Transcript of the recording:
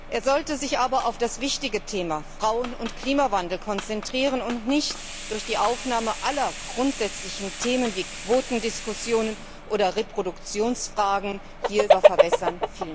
Er sollte sich aber auf das wichtige Thema Frauen und Klimawandel konzentrieren und sich nicht durch die Aufnahme aller grundsätzlichen Themen, wie Quotendiskussionen oder Reproduktionsfragen, selber verwässern.